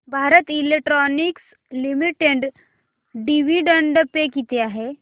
Bharat Electronics Limited dividend pay किती आहे